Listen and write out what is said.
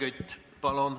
Helmen Kütt, palun!